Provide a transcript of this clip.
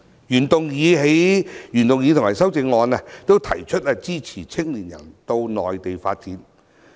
原議案和修正案均提出支持青年人到內地發展。